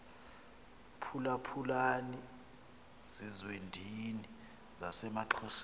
phulaphulani zizwendini zasemaxhoseni